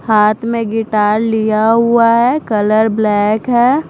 हाथ में गिटार लिया हुआ है कलर ब्लैक है।